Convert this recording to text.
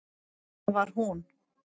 Þar var hún.